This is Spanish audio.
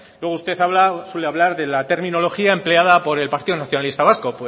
luego usted suele hablar de la terminología empleada por el partido nacionalista vasco